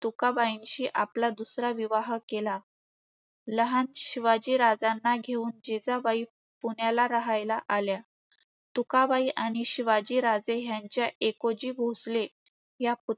तुकाबाईंशी आपला दुसरा विवाह केला. लहान शिवाजी राजांना घेऊन जिजाबाई पुण्याला राहायला आल्या. तुकाबाई आणि शिवाजी राजे ह्यांच्या एकोजी भोसले